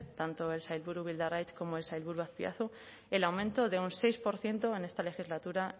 tanto el sailburu bildarratz como el sailburu azpiazu el aumento de un seis por ciento en esta legislatura